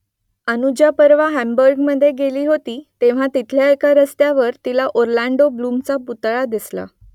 अनुजा परवा हांबुर्गमध्ये गेली होती तेव्हा तिथल्या एका रस्त्यावर तिला ऑरलँडो ब्लूमचा पुतळा दिसला